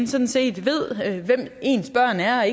sådan set hvem ens børn er